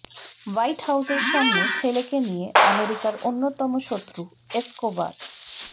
white হাউসের সামনে ছেলেকে নিয়ে আমেরিকার অন্যতম শত্রু এসকোবার